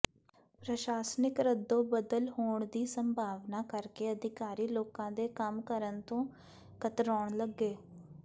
ਪ੍ਰਸ਼ਾਸਨਿਕ ਰੱਦੋ ਬਦਲ ਹੋਣ ਦੀ ਸੰਭਾਵਨਾ ਕਰਕੇ ਅਧਿਕਾਰੀ ਲੋਕਾਂ ਦੇ ਕੰਮ ਕਰਨ ਤੋਂ ਕਤਰਾਉਣ ਲੱਗੇ